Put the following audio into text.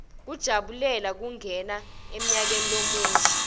kujabulela kungena emnyakeni lomusha